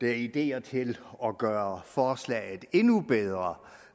er ideer til at gøre forslaget endnu bedre